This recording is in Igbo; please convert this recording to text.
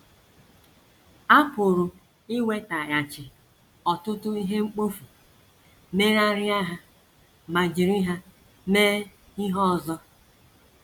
A pụrụ iwetaghachi ọtụtụ ihe mkpofu, megharịa ha ma jiri ha mee ihe ọzọ....